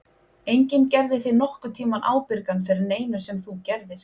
Enginn gerði þig nokkurn tímann ábyrgan fyrir neinu sem þú gerðir.